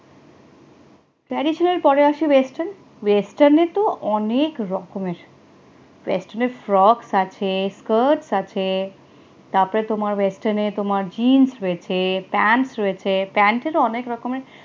traditional পরে আসে western western এ তো অনেক রকমের western এ frocks আছে, skirts আছে, তারপরে তোমার western নেই তোমার jeans রয়েছে pant রয়েছে pant এর অনেক রকমের